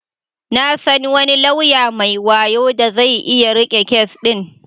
Na san wani lauya mai wayo da zai iya riƙe kes din.